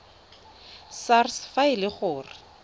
sars fa e le gore